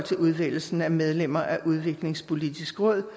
udvælgelsen af medlemmer af udviklingspolitisk råd